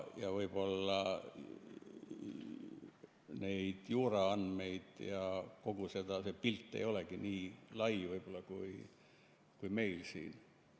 Ja võib-olla need juuraandmed ja kogu see pilt ei olegi nii lai, kui meil siin.